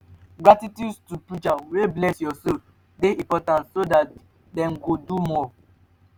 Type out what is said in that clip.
gratitude to preachers wey bless your soul de important so that dem go do more